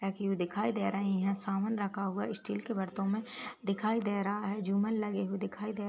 रखी हुई दिखाई दे रहीं हैं। समान रखा हुआ स्टील के बर्तो में दिखाई दे रहा है। झूमर लगे हुए दिखाई दे --